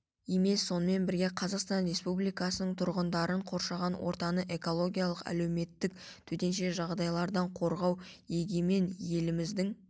емес сонымен бірге қазақстан республикасының тұрғындарын қоршаған ортасын экономикалық әлеуеттілігін төтенше жағдайлардан қорғау егемен еліміздің